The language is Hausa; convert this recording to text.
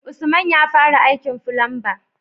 Usman yafara aikin fulamba